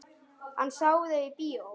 Hann sá þau í bíó.